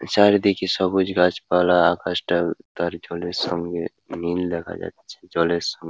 চারিদিকে সবুজ গাছপালা আকাশটা তার জলের সামনে নীল দেখা যাচ্ছে জলের সাম --